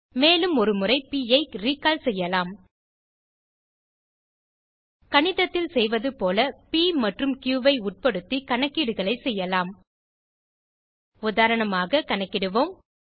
மேலும் ஒரு முறை ப் ஐ ரிக்கால் செய்யலாம் கணிதத்தில் செய்வது போல ப் மற்றும் கியூ ஐ உட்படுத்தி கணக்கீடுகளை செய்யலாம் உதாரணமாக கணக்கிடுவோம்